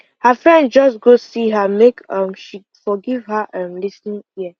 her friend just go see her make um she for give her um lis ten ing ear